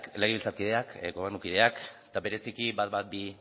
legebiltzarkideak gobernukideak eta bereziki ehun eta hamabi